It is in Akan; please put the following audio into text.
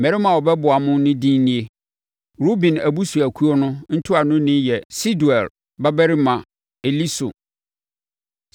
“Mmarima a wɔbɛboa mo no edin nie: “Ruben abusuakuo no ntuanoni yɛ Sedeur babarima Elisur;